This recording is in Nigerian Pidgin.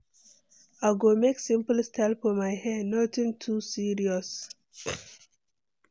I go make simple style for my hair, nothing too serious.